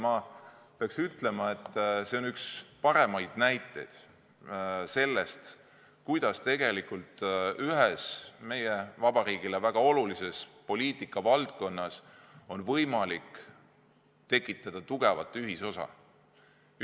Ja peab ütlema, et see on üks paremaid näiteid sellest, kuidas ühes meie vabariigile väga olulises poliitika valdkonnas on võimalik tekitada tugevat ühisosa.